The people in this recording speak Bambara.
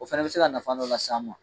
O fana bɛ se ka nafa dɔ las'an ma.